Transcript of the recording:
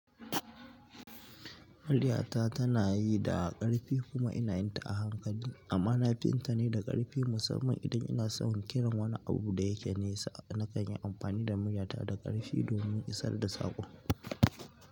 Muryata tana yi da ƙarfi kuma ina yin ta a hankali, amma na fi yin ta ne da ƙarfi musamman idan ina so in kiran wani abu da yake nesa. Na kan yi amfani da muryata da ƙarfi domin isar da saƙo.